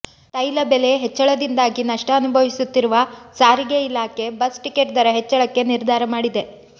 ತೈಲ ಬೆಲೆ ಹೆಚ್ಚಳದಿಂದಾಗಿ ನಷ್ಟ ಅನುಭವಿಸುತ್ತಿರುವ ಸಾರಿಗೆ ಇಲಾಖೆ ಬಸ್ ಟಿಕೆಟ್ ದರ ಹೆಚ್ಚಳಕ್ಕೆ ನಿರ್ಧಾರ ಮಾಡಿದೆ